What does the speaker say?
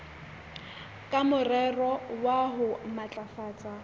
ka morero wa ho matlafatsa